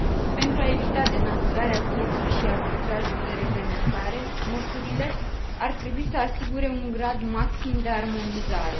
Pentru a evita denaturarea pieței și arbitrajul de reglementare, măsurile ar trebui să asigure un grad maxim de armonizare.